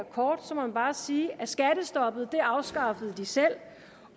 kort må jeg bare sige at skattestoppet afskaffede de selv